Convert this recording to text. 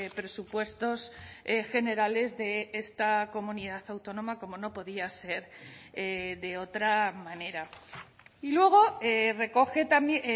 presupuestos generales de esta comunidad autónoma como no podía ser de otra manera y luego recoge también